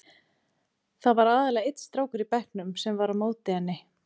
Það var aðallega einn strákur í bekknum sem var á móti henni.